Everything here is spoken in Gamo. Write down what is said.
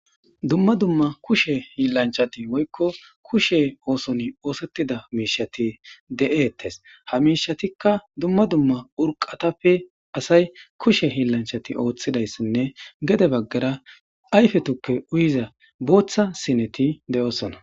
Dumma dumma kushe hiillanchati woykko kushe ooson oosettida miishati de'ettes ha miishatikka dumma dumma urqatappe asay kushe hiillanchati ooththidayssinne gede baggara ayfe tukke uyiza booththa sineti de'osona